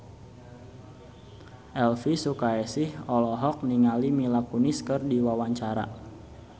Elvi Sukaesih olohok ningali Mila Kunis keur diwawancara